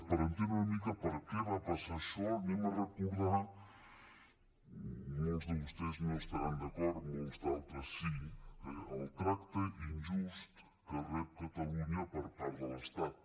per entendre una mica per què va passar això recordem molts de vostès no hi estaran d’acord molts d’altres sí eh el tracte injust que rep catalunya per part de l’estat